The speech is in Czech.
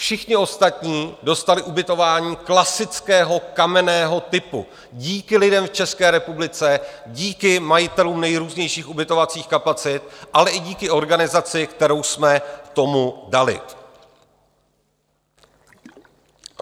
Všichni ostatní dostali ubytování klasického kamenného typu díky lidem v České republice, díky majitelům nejrůznějších ubytovacích kapacit, ale i díky organizaci, kterou jsme tomu dali.